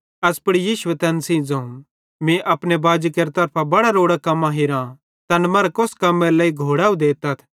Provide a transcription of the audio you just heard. एस पुड़ यीशुए तैन सेइं ज़ोवं मीं अपने बाजी केरे तरफां बड़ां रोड़ां कम्मां हीरां तैन मरां कोस कम्मेरे लेइ घोड़ैव देतथ